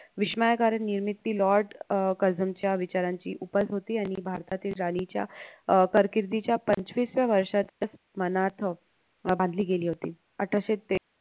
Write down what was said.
विषमयकरां निर्मिती lord Curzon च्या विचारांची उपज होती आणि भारताती ल rally अह कारकिर्दीच्या पंचविसव्या वर्षात मनार्थ अह बांधली गेली होती अठराशे ते